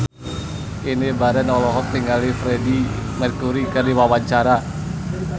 Indy Barens olohok ningali Freedie Mercury keur diwawancara